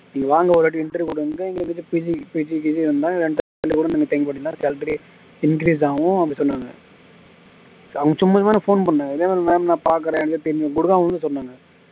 நீங்க வாங்க ஒரு வாட்டி interview கொடுங்க எங்க கிட்ட பிஜி வேணுனாலு rent எடுத்து கூட தங்கிக்கலாம் salary increase ஆகும் அப்படி சொன்னாங்க அவங்க சும்மா சும்மா phone பண்றாங்க இதே மாதிரி ma'am நான் பார்க்கிறேன் இப்டி தான் அவங்களும் சொன்னாங்க